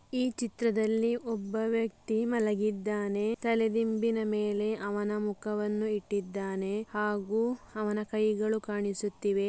ಈ ಚಿತ್ರದಲ್ಲಿ ಒಬ್ಬ ವ್ಯಕ್ತಿ ಮಲಗಿದ್ದಾನೆ ತಲೆದಿಂಬಿನ ಮೇಲೆ ಅವನ ಮುಖವನ್ನು ಇಟ್ಟಿದ್ದಾನೆ ಹಾಗು ಅವನ ಕೈಗಳು ಕಾಣಿಸುತ್ತಿವೆ.